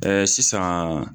sisan